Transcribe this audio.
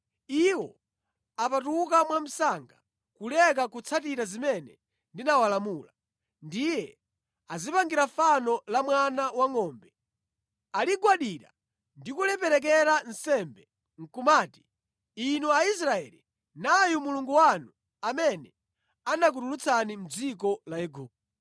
Iwo apatuka mwamsanga kuleka kutsatira zimene ndinawalamula. Ndiye adzipangira fano la mwana wangʼombe. Aligwadira ndi kuliperekera nsembe nʼkumati, ‘Inu Aisraeli, nayu mulungu wanu amene anakutulutsani mʼdziko la Igupto.’ ”